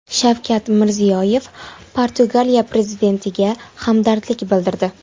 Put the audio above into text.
Shavkat Mirziyoyev Portugaliya prezidentiga hamdardlik bildirdi.